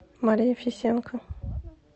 мария фисенко